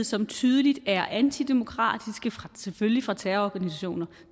som tydeligt er antidemokratiske og selvfølgelig fra terrororganisationer